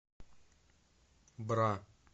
бра